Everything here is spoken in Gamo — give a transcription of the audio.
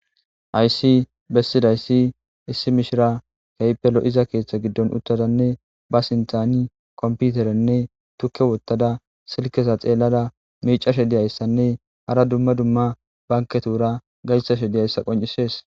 Hays besidays issi mishira keehippe lo'iza ketha gidon uttadanne ba sintani kompiterenne tuke wotada silkeza xelada micashe diyaysanne hara dumma dumma banketura daysppe diyaysa qoncises.